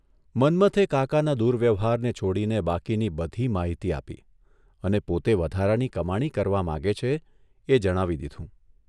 મન્મથે કાકાના દુર્વ્યવહારને છોડીને બાકીની બધી માહિતી આપી અને પોતે વધારાની કમાણી કરવા માંગે છે એ જણાવી દીધું.